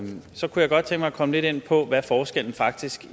godt tænke mig at komme lidt ind på hvad forskellen faktisk